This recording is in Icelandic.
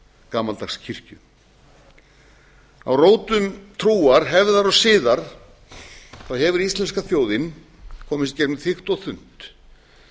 gamaldags kirkju á rótum trúar hefðar og siðar hefur íslenska þjóðin komist í gegnum þykk og unnt